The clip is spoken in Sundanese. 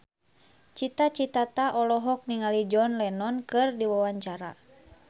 Cita Citata olohok ningali John Lennon keur diwawancara